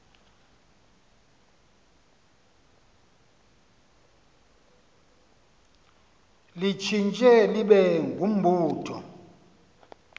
litshintshe libe ngumbutho